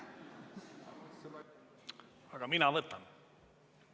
Aga mina võtan.